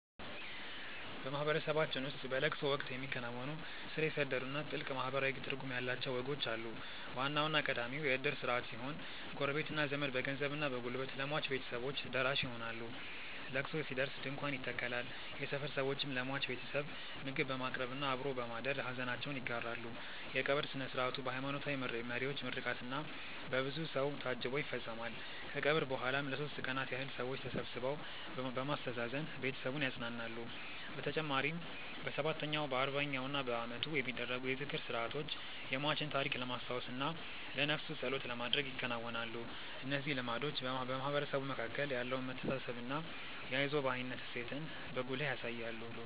በማህበረሰባችን ውስጥ በለቅሶ ወቅት የሚከናወኑ ስር የሰደዱና ጥልቅ ማህበራዊ ትርጉም ያላቸው ወጎች አሉ። ዋናውና ቀዳሚው የእድር ስርዓት ሲሆን፣ ጎረቤትና ዘመድ በገንዘብና በጉልበት ለሟች ቤተሰቦች ደራሽ ይሆናሉ። ለቅሶ ሲደርስ ድንኳን ይተከላል፣ የሰፈር ሰዎችም ለሟች ቤተሰብ ምግብ በማቅረብና አብሮ በማደር ሐዘናቸውን ይጋራሉ። የቀብር ሥነ ሥርዓቱ በሃይማኖታዊ መሪዎች ምርቃትና በብዙ ሰው ታጅቦ ይፈጸማል። ከቀብር በኋላም ለሦስት ቀናት ያህል ሰዎች ተሰብስበው በማስተዛዘን ቤተሰቡን ያጸናናሉ። በተጨማሪም በሰባተኛው፣ በአርባኛውና በዓመቱ የሚደረጉ የዝክር ሥርዓቶች የሟችን ታሪክ ለማስታወስና ለነፍሱ ጸሎት ለማድረግ ይከናወናሉ። እነዚህ ልማዶች በማህበረሰቡ መካከል ያለውን መተሳሰብና የአይዞህ ባይነት እሴትን በጉልህ ያሳያሉ።